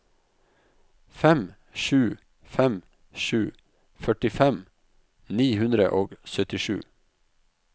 fem sju fem sju førtifem ni hundre og syttisju